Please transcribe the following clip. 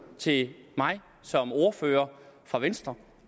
til mig som ordfører for venstre